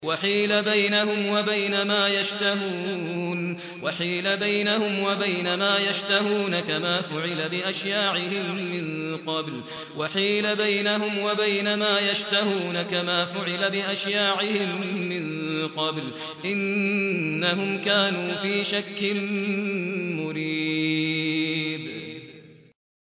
وَحِيلَ بَيْنَهُمْ وَبَيْنَ مَا يَشْتَهُونَ كَمَا فُعِلَ بِأَشْيَاعِهِم مِّن قَبْلُ ۚ إِنَّهُمْ كَانُوا فِي شَكٍّ مُّرِيبٍ